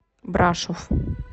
брашов